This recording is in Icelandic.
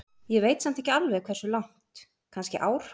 Ég veit samt ekki alveg hversu langt, kannski ár?